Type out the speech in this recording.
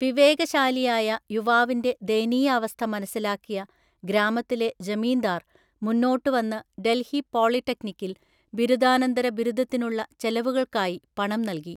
വിവേകശാലിയായ യുവാവിന്റെ ദയനീയാവസ്ഥ മനസ്സിലാക്കിയ ഗ്രാമത്തിലെ ജമീന്ദാർ മുന്നോട്ട് വന്ന് ഡൽഹി പോളിടെക്നിക്കിൽ ബിരുദാനന്തര ബിരുദത്തിനുള്ള ചെലവുകൾക്കായി പണം നൽകി .